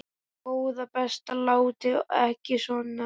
Góða besta láttu ekki svona!